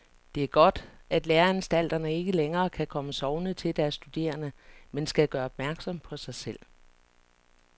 Det er godt, at læreanstalterne ikke længere kan komme sovende til deres studerende, men skal gøre opmærksom på sig selv.